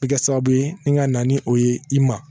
Bɛ kɛ sababu ye ni ka na ni o ye i ma